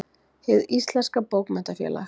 Hið íslenska bókmenntafélag.